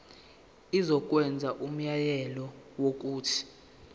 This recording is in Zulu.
izokwenza umyalelo wokuthi